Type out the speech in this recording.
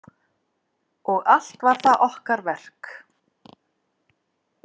Og allt var það okkar verk.